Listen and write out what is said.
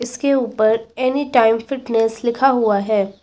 इसके ऊपर Anytime Fitness लिखा हुआ है।